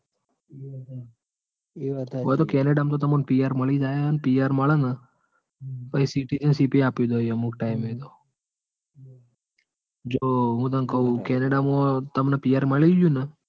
અહીંયા તો કેનેડા માં તો તમને PR મળી જાય હ અને પીઆર મલ ન? હમ અમુક આપી દોય અમૂક time એતો જો હું તન કૌ કેનેડામાં તમને PR મળી ગયું ન?